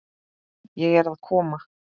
Ég er að koma